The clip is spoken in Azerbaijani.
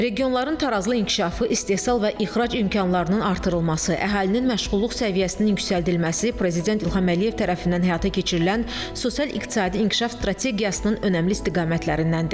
Regionların tarazlı inkişafı, istehsal və ixrac imkanlarının artırılması, əhalinin məşğulluq səviyyəsinin yüksəldilməsi Prezident İlham Əliyev tərəfindən həyata keçirilən sosial-iqtisadi inkişaf strategiyasının önəmli istiqamətlərindəndir.